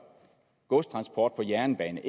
godstransport på jernbane